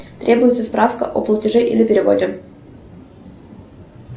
требуется справка о платеже или переводе